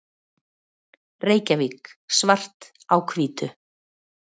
Reykjavík: Svart á hvítu.